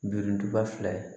Birinduba fila ye